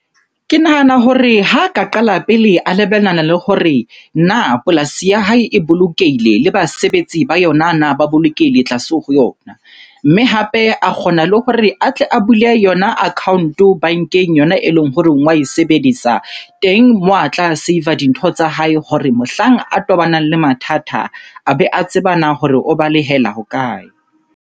Ke nahana hore ha ka qala pele a lebelana le hore na polasi ya hae e bolokehile le basebetsi ba yona na ba bolokehile tlase ho yona? Mme hape a kgona le hore a tle a file yona account-o bankeng yona eleng hore wa e sebedisa. Teng moo a tla save-a dintho tsa hae hore mohlang a tobanang le mathata, a be a tseba na hore o balehela hokae?